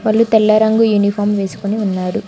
వాళ్ళు తెల్ల రంగు యూనిఫాం వేసుకుని ఉన్నారు.